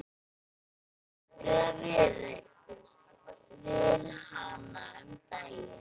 Ég nefndi það við hana um daginn.